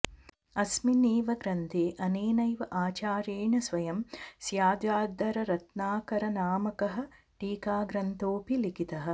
अस्मिन् एव ग्रन्थे अनेनैव आचार्येण स्वयं स्याद्वादरत्नाकरनामकः टीकाग्रन्थोऽपि लिखितः